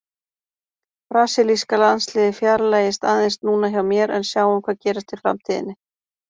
Brasilíska landsliðið fjarlægist aðeins núna hjá mér en sjáum hvað gerist í framtíðinni!